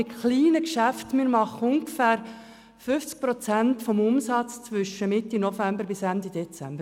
Die kleinen Geschäfte in der Altstadt machen ungefähr 50 Prozent ihres Umsatzes zwischen Mitte November bis Ende Dezember.